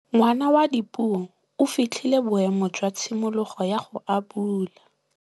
Ngwana wa Dipuo o fitlhile boêmô jwa tshimologô ya go abula.